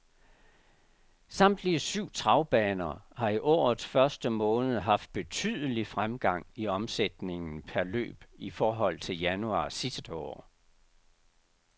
Samtlige syv travbaner har i årets første måned haft betydelig fremgang i omsætningen per løb i forhold til januar sidste år.